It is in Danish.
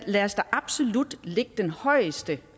lad os da absolut lægge det højeste